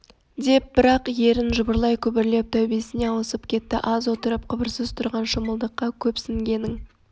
деп бір-ақ ерін жыбырлай күбірлеп тәубесіне ауысып кетті аз отырып қыбырсыз тұрған шымылдыққа көпсінгенің